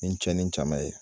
Ni cɛni caman ye